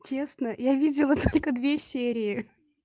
честно я видела только две серии